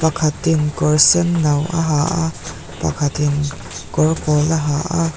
pakhatin kawr senno a ha a pakhatin kawr pawl a ha a.